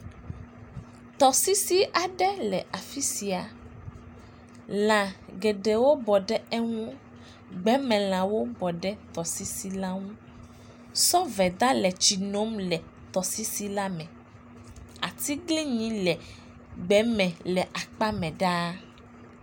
Tɔsisi aɖe le afi sia, lã geɖewo bɔ ɖe eŋu, gbemelãwo bɔɖe tɔsisi la ŋu, sɔveda le tsi nom le tɔsisi la me, atiglinyi le gbe me le akpa me ɖaa.